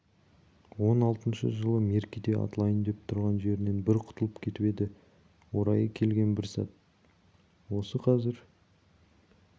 он алтыншы жылы меркеде атылайын деп тұрған жерінен бір құтылып кетіп еді орайы келген бір сәт осы қазір